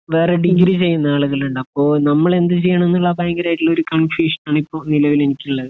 വേറെ ഡിഗ്രി ചെയ്യുന്ന ആളുകൾ ഉണ്ടാവും അപ്പൊ നമ്മൾ എന്ത് ചെയ്യണം എന്നുള്ള ഭയങ്കരമായിട്ടുള്ള ഒരു കൺഫ്യൂഷൻ ആൻ ഇപ്പൊ നിലവിൽ എനിക്ക്